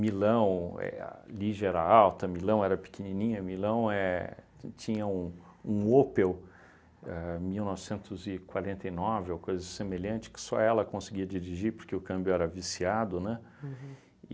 Milão, é a Ligia era alta, Milão era pequenininha, Milão éh tinha um um Opel ahn mil novecentos e quarenta e nove, ou coisa semelhante, que só ela conseguia dirigir porque o câmbio era viciado, né?